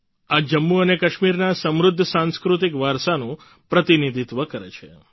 આ જમ્મુ અને કાશ્મીરના સમૃદ્ધ સાંસ્કૃતિક વારસાનું પ્રતિનિધિત્વ કરે છે